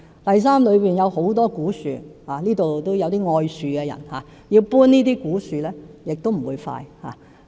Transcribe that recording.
第三，那裏有很多古樹——會議廳中也有些愛樹的人——要遷移這些古樹，亦不會快。